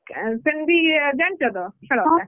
ସେମିତି ଜାଣିଛ ତ ଖେଳଟା